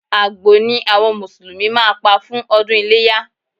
Àgbò ni àwọn Mùsùlùmí máa pa fún ọdún iléyá